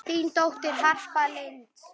Þín dóttir, Harpa Lind.